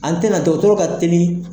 An tɛna dɔgɔtɔrɔ ka teli.